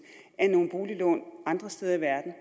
af nogle boliglån andre steder i verden og